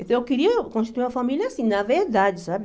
Então, eu queria construir uma família assim, na verdade, sabe?